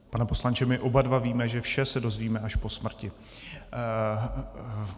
Pane poslanče, my oba dva víme, že vše se dozvíme až po smrti.